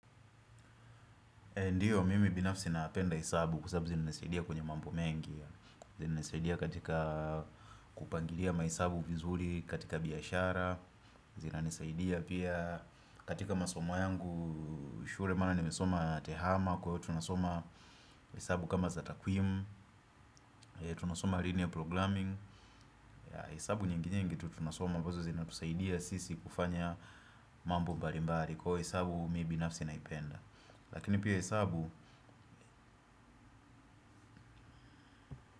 Ndiyo mimi binafsi napenda hesabu kwa sababu zinanisaidia kwenye mambo mengi zinanisaidia katika kupangilia mahesabu vizuri katika biashara zinanisaidia pia katika masomo yangu shule maana nimesoma tehama kwa hivyo tunasoma hesabu kama za takwimu. Tunasoma linear programming hesabu nyinginyingi tu tunasoma ambazo zinatusaidia sisi kufanya mambu mbalimbali kwa hivyo hesabu mimi binafsi naipenda lakini pia hesabu.